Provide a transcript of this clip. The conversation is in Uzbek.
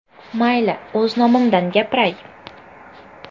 Mayli, o‘z nomimdan gapiray.